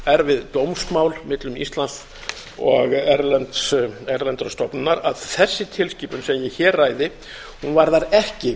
erfið dómsmál millum íslands og erlendrar stofnunar að þessi tilskipun sem ég hér ræði varðar ekki